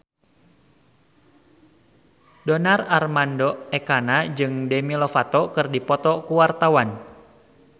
Donar Armando Ekana jeung Demi Lovato keur dipoto ku wartawan